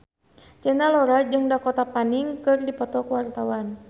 Cinta Laura jeung Dakota Fanning keur dipoto ku wartawan